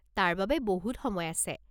তাৰ বাবে বহুত সময় আছে।